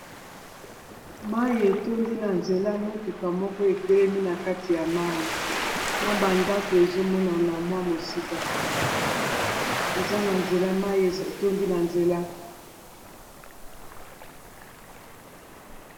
mai etondi na nzela motuka moko etelemi na kati ya mai na bandako ezomonana mwa mwa mosika eza na nzela mai etondi na nzela